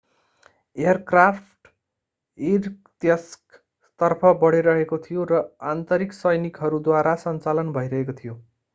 aircraft इर्कत्स्कतर्फ बढिरहेको थियो र आन्तरिक सैनिकहरूद्वारा सञ्चालन भइरहेको थियो